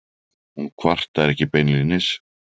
Hún kvartar ekki beinlínis.